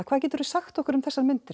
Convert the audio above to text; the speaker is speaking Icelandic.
hvað geturðu sagt okkur um þessar myndir